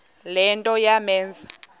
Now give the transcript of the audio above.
le nto yamenza